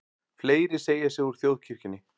Fleiri segja sig úr þjóðkirkjunni